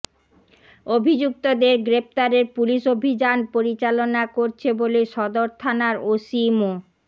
অভিযুক্তদের গ্রেফতারের পুলিশ অভিযান পরিচালনা করছে বলে সদর থানার ওসি মো